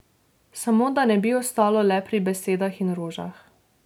Samo da ne bi ostalo le pri besedah in rožah.